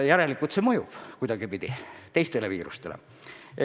Järelikult see aitab ka teiste viiruste vastu.